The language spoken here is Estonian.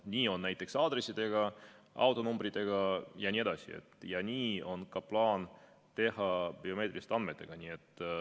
Nii on näiteks aadressidega, autonumbritega jne, ja nii on plaan teha ka biomeetriliste andmetega.